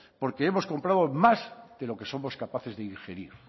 porque hemos compramos más de lo que somos capaces de digerir